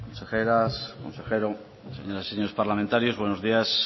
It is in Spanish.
consejeras consejero señoras y señores parlamentarios buenos días